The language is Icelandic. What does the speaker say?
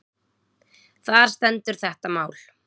Þar stendur þetta mál.